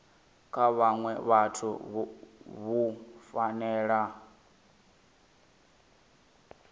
kha vhaṅwe vhathu vhu fanela